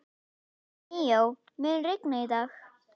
Míó, mun rigna í dag?